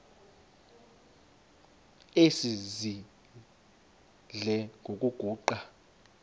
esidl eziny iziguqa